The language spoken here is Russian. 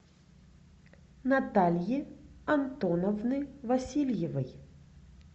натальи антоновны васильевой